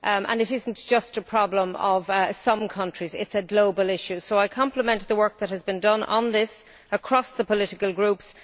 It is not just a problem in some countries, it is a global issue. So I would like to complement the work that has been done on this across the political groups.